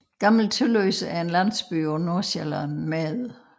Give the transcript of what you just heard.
Gammel Tølløse er en landsby på Nordvestsjælland med